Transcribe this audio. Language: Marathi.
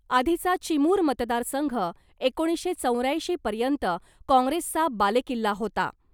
आधीचा चिमूर मतदारसंघ एकोणीसशे चौऱ्याऐंशीपर्यंत काँग्रेसचा बालेकिल्ला होता .